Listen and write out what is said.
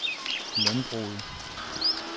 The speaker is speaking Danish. landbruget